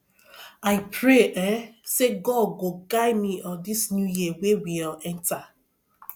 i pray um say god go guide me um dis new year wey we um enter